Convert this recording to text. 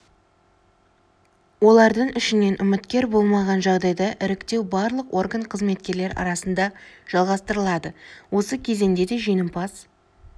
олардың ішінен үміткер болмаған жағдайда іріктеу барлық орган қызметкерлері арасында жалғастырылады осы кезеңде де жеңімпаз